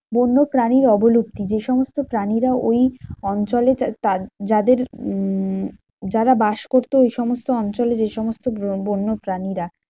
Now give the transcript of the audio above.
বন্য প্রাণীর অবলুপ্তি। যেসমস্ত প্রাণীরা ওই অঞ্চলে যাদের উম যারা বাস করতো ওই সমস্ত অঞ্চলে যে সমস্ত বন~ বন্য প্রাণীরা,